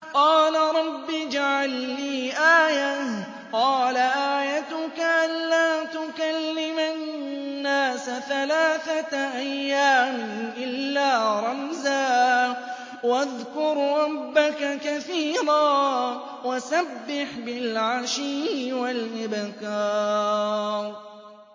قَالَ رَبِّ اجْعَل لِّي آيَةً ۖ قَالَ آيَتُكَ أَلَّا تُكَلِّمَ النَّاسَ ثَلَاثَةَ أَيَّامٍ إِلَّا رَمْزًا ۗ وَاذْكُر رَّبَّكَ كَثِيرًا وَسَبِّحْ بِالْعَشِيِّ وَالْإِبْكَارِ